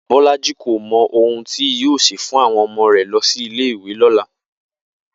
Bó̩lájí kò mo̩ ohun tí yóò sè fún àwo̩n o̩mo̩ rè̩ lo̩ sí ilé ìwé ló̩la